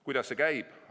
Kuidas see käib?